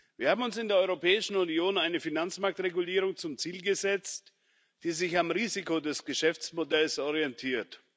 Wir haben uns in der Europäischen Union eine Finanzmarktregulierung zum Ziel gesetzt, die sich am Risiko des Geschäftsmodells orientiert.